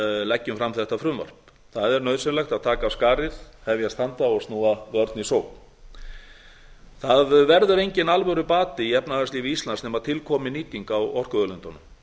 leggjum fram þetta frumvarp það er nauðsynlegt að taka af skarið hefjast handa og snúa vörn í sókn það verður enginn alvörubati í efnahagslífi íslands nema til komi nýting á orkuauðlindunum